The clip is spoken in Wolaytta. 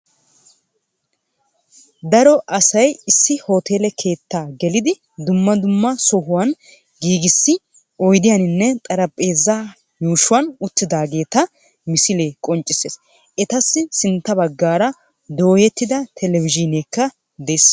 Daro asay issi hooteele keettaa gelidi dumma dumma sohuwan giigisa oydiyaninne xaeaphpheezaa yuushuwan uttidaageeta misilee qonccissees Etassi sintta baggaara dootettida televizhzhiineekka dees